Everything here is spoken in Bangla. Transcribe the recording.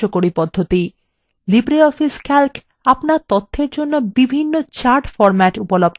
libreoffice calc আপনার তথ্যর জন্য বিভিন্ন chart formats উপলব্ধ করে